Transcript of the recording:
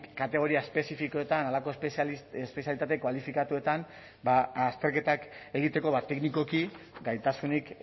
kategoria espezifikoetan halako espezialitate kualifikatuetan azterketak egiteko teknikoki gaitasunik